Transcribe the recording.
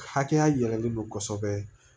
Hakɛya yɛlɛlen don kosɛbɛ